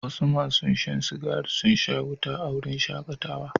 Wasu masun Shan cigari sun sa wuta a wurin shakatawan.